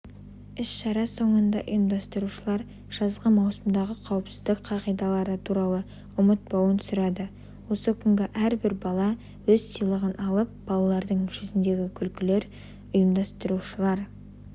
іс-шара соңында ұйымдастырушылар жазғы маусымдағы қауіпсіздік қағидалары туралы ұмытпауын сұрады осы күні әрбір бала өз сыйлығын алып балалардың жүзіндегі күлкілер қйымдастырушылар